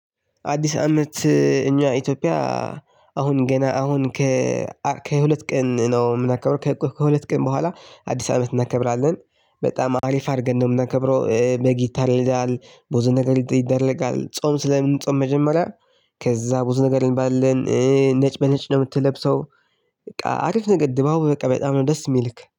አዲስ አመት እኛ ኢትዮጵያ። አሁን ገና አሁን ከ ከሁለት ቀን ነው የምናካበው ከሁለት ቀን በኋላ አዲስ አመት እናከብራለን በጣም አሪፍ አድርገን ነው የምናከብረው በግ ይታረዳል። ብዙ ነገር ይደረጋል ጾም ስለ ምንጾም መጀመሪያ። ከዛ ብዙ ነገር እንባላለን ነጭ በነጭ ነው የምትለብሰው። በቃ አሪፍ ነገር ድባቡ በቃ በጣም ነው ደስ የሚልክ